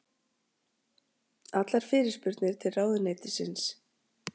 Allar fyrirspurnir til ráðuneytisins